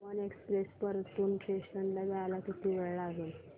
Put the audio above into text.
Tapovan express Partur station ला यायला किती वेळ लागेल